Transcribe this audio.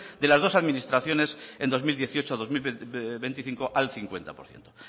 de las dos administraciones en dos mil dieciocho dos mil veinticinco al cincuenta por ciento